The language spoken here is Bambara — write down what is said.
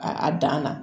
A a dan na